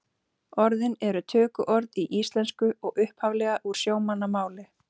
Orðin eru tökuorð í íslensku og upphaflega úr sjómannamáli.